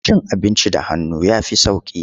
Cin abinci da hannu ya fi sauƙi.